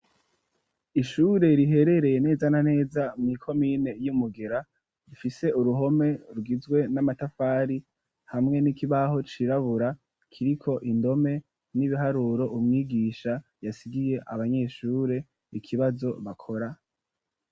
Ishure riherereye neza na neza mw'ikomine y'umugera rifise uruhome rwizwe n'amatafari hamwe n'ikibaho cirabura kiriko indome n'ibiharuro umwigisha yasigiye abanyeshure ikibazo bakora.